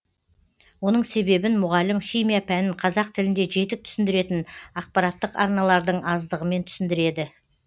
оның себебін мұғалім химия пәнін қазақ тілінде жетік түсіндіретін ақпараттық арналардың аздығымен түсіндіреді